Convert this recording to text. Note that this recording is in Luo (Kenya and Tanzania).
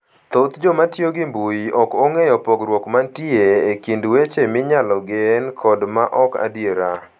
Thoth joma tiyo gi mbui ok ong'eyo pogruok mantie e kind weche minyalo gen kod ma ok adier.